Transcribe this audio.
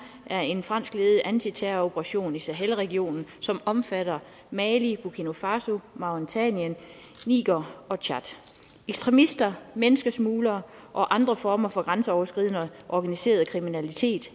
er en franskledet antiterroroperation i sahel regionen som omfatter mali burkina faso mauretanien niger og tchad ekstremisme menneskesmugling og andre former for grænseoverskridende organiseret kriminalitet